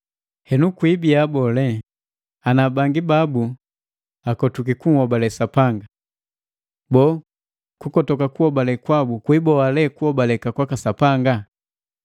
Henu kwibia boo, ana bangi babu akotwiki kunhobale Sapanga? Boo, kukotoka kuhobale kwabu kwiiboa lee kuhobaleka kwaka Sapanga?